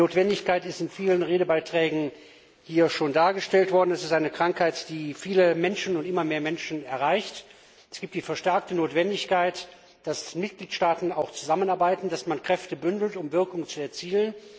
Die Notwendigkeit ist in vielen Redebeiträgen schon dargestellt worden. Es ist eine Krankheit, die viele Menschen und immer mehr Menschen betrifft. Es gibt die verstärkte Notwendigkeit, dass die Mitgliedstaaten zusammenarbeiten, dass man Kräfte bündelt, um Wirkung zu erzielen.